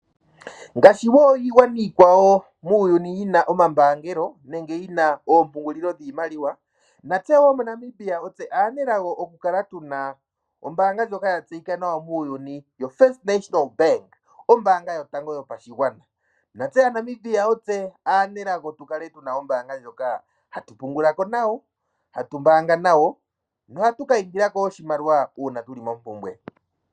Ngaashi woo iigwana iikwawo muuyuni yina oompungulilo dhiimaliwa, natse woo moNamibia otse aanelago okukala tuna ombaanga ndjoka ya tseyika nawa muuyuni FNB, ombaanga yotango yopashigwana natse aaNamibia otse aanelago okukala tuna ombaanga ndjoka hatu pungulako nohatu ka indilako oshimaliwa uuna tuli mompumbwe.